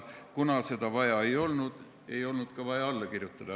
Kuna seda vaja ei olnud, ei olnud ka vaja alla kirjutada.